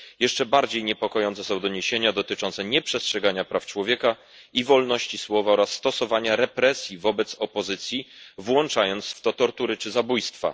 Jeszcze bardziej niepokojące są doniesienia dotyczące nieprzestrzegania praw człowieka i wolności słowa oraz stosowania represji wobec opozycji, włączając w to tortury czy zabójstwa.